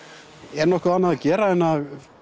er nokkuð annað að gera en að